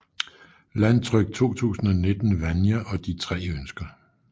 Landtryk 2019 Vanja og de tre ønsker